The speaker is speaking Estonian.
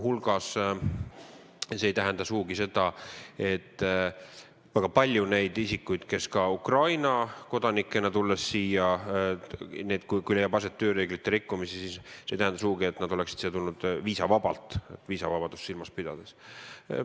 See ei tähenda midagi, et väga paljud isikud, kes Ukraina kodanikena siin olles on tööreegleid rikkunud, on tulnud siia viisavabalt, viisavabadust silmas pidades.